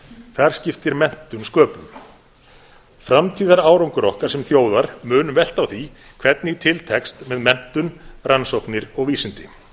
þar skiptir menntun sköpum framtíðarárangur okkar sem þjóðar mun velta á því hvernig til tekst með menntun rannsóknir og vísindi